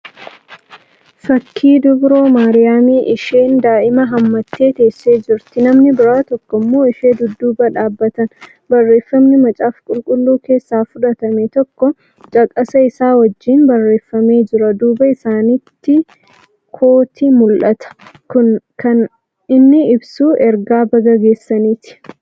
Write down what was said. Fakkii dubroo maariyaamii. isheen daa'ima hammatee teessee jirti. namni biraa tokko immoo ishee dudduuba dhaabbatan. barreeffaamni macaafa qulqulluu keessaa fudhatame tokko caqasa Isaa wajjiin barreeffamee Jira duuba isaanitti kooti mul'ata. kuni kana inni ibsu ergaa Baga geessaniiti